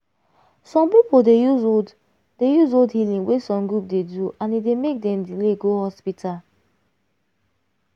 some people dey use old dey use old healing wey some group dey do and e dey make dem delay go hospital.